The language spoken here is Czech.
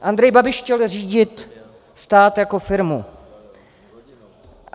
Andrej Babiš chtěl řídit stát jako firmu.